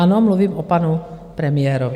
Ano, mluvím o panu premiérovi.